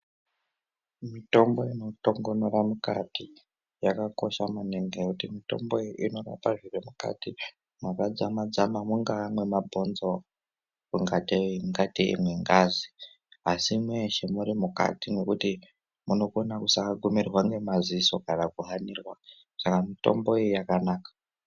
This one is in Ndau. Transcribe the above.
Mitombo inotongonora mukati yakakosha maningi ngokuti mitombo iyi inorapa zviri mukati makadzama dzama mungaa mwemabhonzo ngatei nengazi asi meshe munenge muri mukati ngekuti munokona kusa gumirwa nemaziso kana kuhanirwa saka mitombo iyi yakanaka.